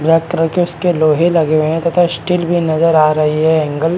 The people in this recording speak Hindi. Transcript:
ब्लॅक कलर के इसके लोहे लगे हुए हैं तथा स्टील भी नजर आ रही है एंगल --